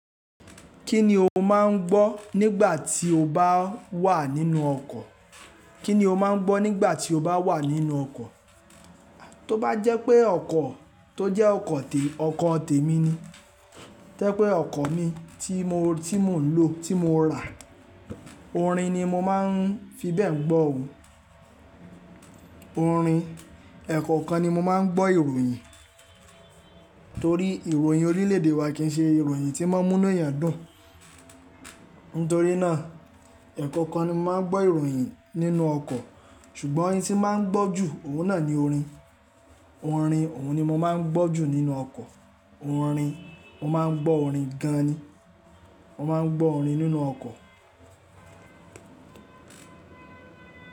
Kí ni o máà ń gbọ́ nígbà tí o bá wà nínú ọkọ̀? Kí ni o máà ń gbọ́ nígbà tí o bá wà nínú ọkọ̀? Tó bá jẹ́ pé ọkọ̀ tó jẹ́ ọkọ̀ tè, ọkọ̀ tè mi ni. Tẹ́ pé ọkọ̀ mi tí mò ń lò, tí mo rà, orin ni mo máa ń fi bẹ́ẹ̀ ń gbọ́ òun. Orin, ẹ̀ẹ̀kọ̀kan ni mo máa ń gbọ́ ìròyìn. Torí ìròyìn orílẹ̀ èdè wa kì í ṣe ìròyìn tí mọ́mú inú eyàn dùn. Nítorí náà, ẹ̀ẹ̀kọ̀kan ni mo máa ń gbọ́ ìròyìn nínú ọkọ̀. Ṣùgbọ́n ohun tí màá ń gbọ́ jù, òun náà ni orin. Orin, òun ni mo máa ń gbọ́ jù nínú ọkọ̀. Orin, mo máa ń gbọ́ orin gan ni. Mo máa ń gbọ́ orin nínú ọkọ̀.